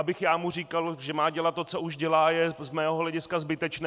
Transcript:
Abych já mu říkal, že má dělat to, co už dělá, je z mého hlediska zbytečné.